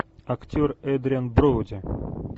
актер эдриан броуди